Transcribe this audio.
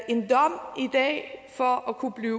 en dom for at kunne blive